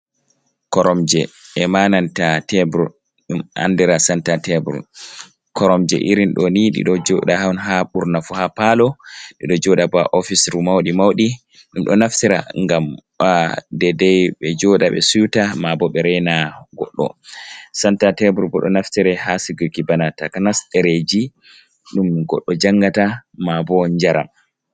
Koromje, e ma nanta tebur, ɗum andira santa tebur. Koromje irin ɗoni ɗiɗo joɗa on ha ɓurna fu ha palo, ɗiɗo joɗa bo ha ofisru mauɗi, mauɗi ɗum ɗo naftira ngam ba dedai ɓe joɗa ɓe siuta, mabo ɓe rena goɗɗo. Santa tebur bo, ɗo naftira ha si guki bana takanas ɗereji ɗum goɗɗo jangata mabo njaram.